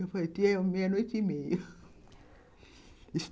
Eu falei, tia, é meia-noite e meia